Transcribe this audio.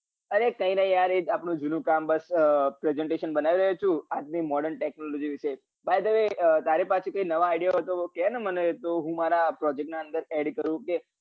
અરે કઈ નહિ યાર એજ આપડું જુનું કામ બસ અર presentation બનાવી રહ્યો છું આજની model technology વિષે by the way તારા પાસે કઈ નવા idea હોય કે ને મને તો હું મારા project ના અંદર add કરું કે